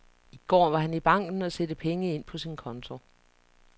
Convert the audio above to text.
I går var han i banken og sætte penge ind på sin konto.